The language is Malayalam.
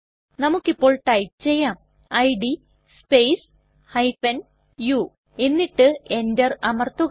നമുക്ക് ഇപ്പോൾ ടൈപ്പ് ചെയ്യാം ഇഡ് സ്പേസ് u എന്നിട്ട് Enter അമർത്തുക